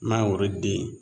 Mangoro den